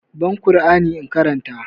Ban ƙur'ani in karanta!